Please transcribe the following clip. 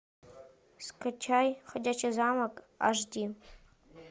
скачай ходячий замок аш ди